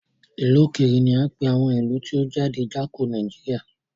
Ìlú òkèrè ní á ń pè àwọn ìlú tí ó jáde Jáko Nàìjíríà.